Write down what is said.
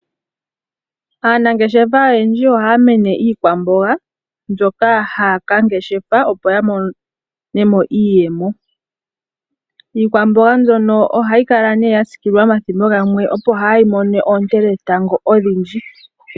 Aanangeshefa oyendji oha ya meneke iikwamboga mbyoka ha ya ka ngeshefa opo ya mone mo iiyemo. Iikwamboga mbyono ohayi kala ya siikilwa omathimbo gamwe opo kaa yi mone oonte dhetango odhindji